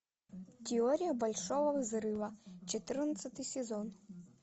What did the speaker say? теория большого взрыва четырнадцатый сезон